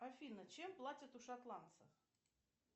афина чем платят у шотландцев